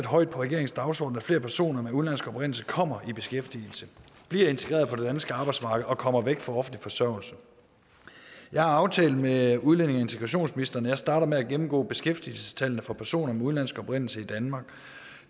højt på regeringens dagsorden at flere personer af udenlandsk oprindelse kommer i beskæftigelse bliver integreret på det danske arbejdsmarked og kommer væk fra offentlig forsørgelse jeg har aftalt med udlændinge og integrationsministeren at jeg starter med at gennemgå beskæftigelsestallene for personer af udenlandsk oprindelse i danmark